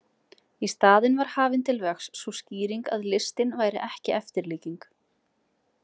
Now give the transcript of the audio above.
Í staðinn var hafin til vegs sú skýring að listin væri ekki eftirlíking.